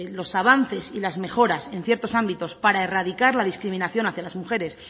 los avances y las mejoras en ciertos ámbitos para erradicar la discriminación hacia las mujeres